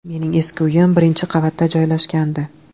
Mening eski uyim birinchi qavatda joylashgandi.